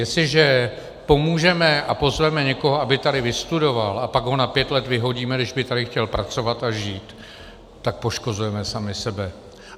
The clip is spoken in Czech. Jestliže pomůžeme a pozveme někoho, aby tady vystudoval, a pak ho na pět let vyhodíme, když by tady chtěl pracovat a žít, tak poškozujeme sami sebe.